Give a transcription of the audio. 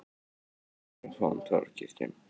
Ein af fáum torfkirkjum sem enn standa á Íslandi.